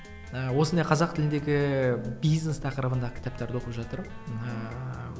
ыыы осындай қазақ тіліндегі бизнес тақырыбында кітаптарды оқып жатырмын ыыы